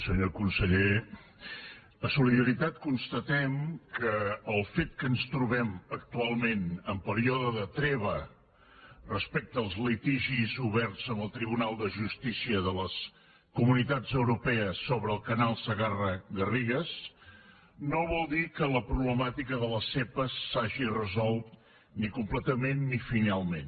senyor conseller a solidaritat constatem que el fet que ens trobem actualment en període de treva respecte als litigis oberts amb el tribunal de justícia de les comunitats europees sobre el canal segarra garrigues no vol dir que la problemàtica de les zepa s’hagi resolt ni completament ni finalment